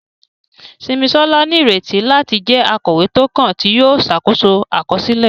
Simisola ní ìrètí láti jẹ́ akọ̀wé tó kàn, tí yóò ṣàkóso àkọsílẹ̀.